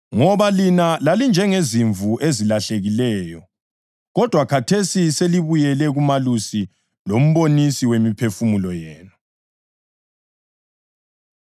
Ngoba “lina lalinjengezimvu ezilahlekileyo,” + 2.25 U-Isaya 53.6 kodwa khathesi selibuyele kuMalusi loMbonisi wemiphefumulo yenu.